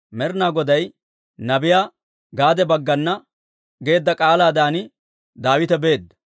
Med'inaa Goday nabiyaa Gaade baggana geedda k'aalaadan Daawite beedda.